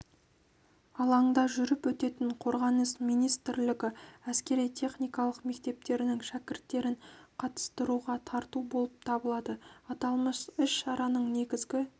алаңда жүріп өтетін қорғаныс министрлігі әскери-техникалық мектептерінің шәкірттерін қатыстыруға тарту болып табылады аталмыш іс-шараның негізгі